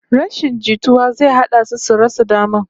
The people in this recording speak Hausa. Rashin jituwa zai haddasa su rasa daman